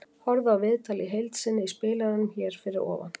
Horfðu á viðtalið í heild sinni í spilaranum hér fyrir ofan.